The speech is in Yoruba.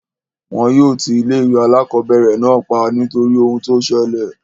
Wọn yóò ti ilé ìwé alákọ̀berẹ̀ náà pa nítorí ohun tí o ṣẹlẹ̀.